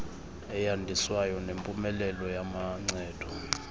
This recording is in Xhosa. eyandiswayo nempumelelo yamancedo